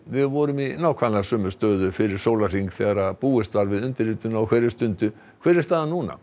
við vorum í nákvæmlega sömu stöðu fyrir sólarhring þegar búist var við undirritun á hverri stundu hver er staðan núna